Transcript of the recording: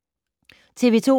TV 2